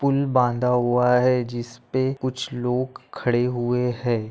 Pool बाँदा हुआ है जिसपे कुछ लोग खड़े हुए है।